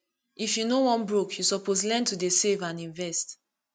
if you no wan broke you suppose learn to dey save and invest